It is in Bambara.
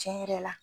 Tiɲɛ yɛrɛ la